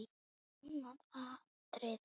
Annað atriði.